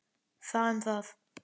Það um það.